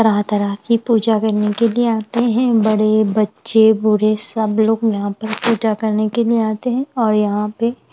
तरह-तरह की पूजा करने के लिए आते हैं बड़े बच्चे बूढ़े सब लोग यहाँ पर पूजा करने के लिए आते हैं और यहाँ पे --